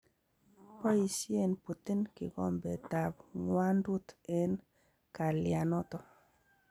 Boisien Putin gigombet ab ngwandut en kalianoton.